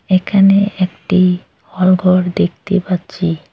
এখানে একটি হলঘর দেখতে পাচ্ছি।